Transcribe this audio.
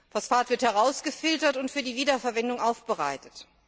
Phosphat wird herausgefiltert und für die Wiederverwendung aufbereitet.